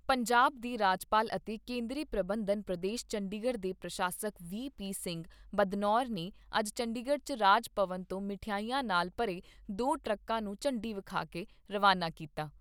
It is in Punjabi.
ਪੰਜਾਬ ਦੇ ਰਾਜਪਾਲ ਅਤੇ ਕੇਂਦਰੀ ਪ੍ਰਬੰਧਤ ਪ੍ਰਦੇਸ਼ ਚੰਡੀਗੜ੍ਹ ਦੇ ਪ੍ਰਸ਼ਾਸਕ ਵੀ ਪੀ ਸਿੰਘ ਬਦਨੌਰ ਨੇ ਅੱਜ ਚੰਡੀਗੜ੍ਹ 'ਚ ਰਾਜ ਭਵਨ ਤੋਂ ਮਠਿਆਈਆਂ ਨਾਲ ਭਰੇ ਦੋ ਟਰੱਕਾਂ ਨੂੰ ਝੰਡੀ ਵਿਖਾ ਕੇ ਰਵਾਨਾ ਕੀਤਾ।